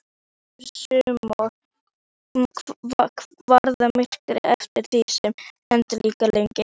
Svipur Símonar varð myrkari eftir því sem erindið lengdist.